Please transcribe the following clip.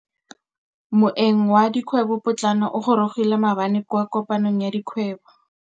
Moêng wa dikgwêbô pôtlana o gorogile maabane kwa kopanong ya dikgwêbô.